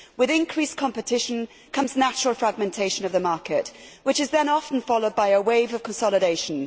With increased competition comes natural fragmentation of the market, which is then often followed by a wave of consolidation.